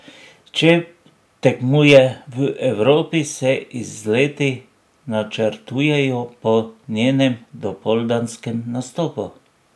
Če tekmuje v Evropi, se izleti načrtujejo po njenem dopoldanskem nastopu.